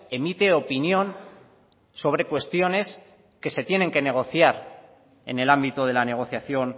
emite opinión sobre cuestiones que se tienen que negociar en el ámbito de la negociación